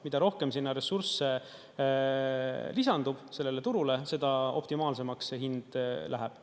Mida rohkem sinna ressursse lisandub, sellele turule, seda optimaalsemaks see hind läheb.